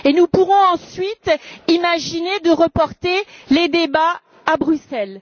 Et nous pourrons ensuite imaginer de reporter les débats à Bruxelles.